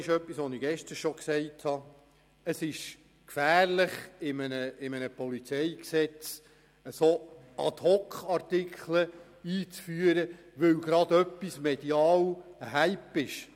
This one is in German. Ich habe gestern schon gesagt, dass es gefährlich ist, einen Ad-hoc-Artikel in das PolG einzufügen, weil etwas gerade einen medialen Hype darstellt.